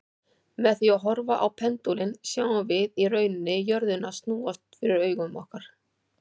Með því að horfa á pendúlinn sjáum við í rauninni jörðina snúast fyrir augum okkar.